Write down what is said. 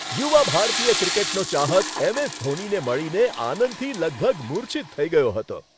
યુવા ભારતીય ક્રિકેટનો ચાહક એમ.એસ. ધોનીને મળીને આનંદથી લગભગ મૂર્છિત થઈ ગયો હતો.